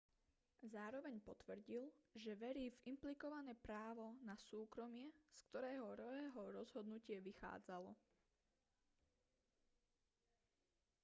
zároveň potvrdil že verí v implikované právo na súkromie z ktorého roeho rozhodnutie vychádzalo